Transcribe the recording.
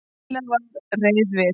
Lilla var reið við